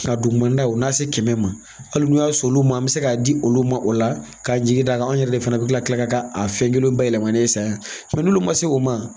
Ka duguman daw o na se kɛmɛ ma, hali n'i y'a sɔn, olu ma, an mi se k'a di olu ma, o la, k'an jigin da kan an yɛrɛ de fana ka kila ka a fɛn kelen bayɛlɛmanen san yan n'olu ma se o ma